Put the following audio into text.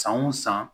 San o san